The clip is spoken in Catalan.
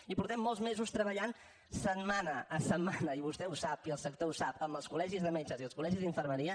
i portem molts mesos treballant setmana a setmana i vostè ho sap i el sector ho sap amb els col·legis de metges i els col·legis d’infermeria